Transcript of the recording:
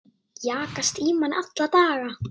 Jagast í manni alla daga.